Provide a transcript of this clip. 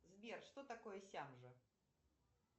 сбер что такое сямжа